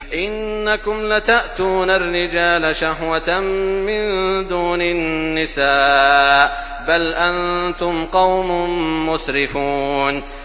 إِنَّكُمْ لَتَأْتُونَ الرِّجَالَ شَهْوَةً مِّن دُونِ النِّسَاءِ ۚ بَلْ أَنتُمْ قَوْمٌ مُّسْرِفُونَ